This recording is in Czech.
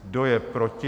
Kdo je proti?